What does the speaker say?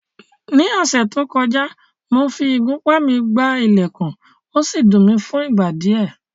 Ní ọ̀sẹ̀ tó kọjá, mo fi ìgúnpá mi gbá ilẹ̀kùn, ó sì dùn mi fún ìgbà díẹ̀